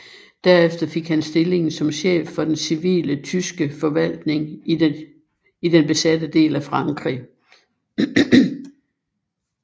Derefter fik han stillingen som chef for den civile tyske forvaltning i den besatte del af Frankrig